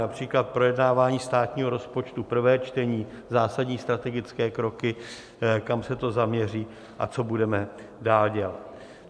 Například projednávání státního rozpočtu, prvé čtení, zásadní strategické kroky, kam se to zaměří a co budeme dál dělat.